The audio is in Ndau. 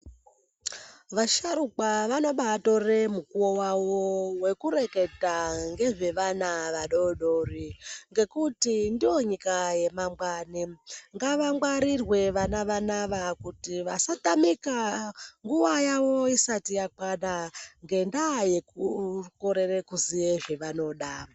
Vasharukwa vanobatore mukuwo wawo wekureketa ngezvevana vadodori. Ngekuti ndonyika yemangwani. Ngavangwarirwe vana vanava kuti vasatamika nguwa yawo isati yakwana, ngendaa yekukorere kuziye zvavanoda.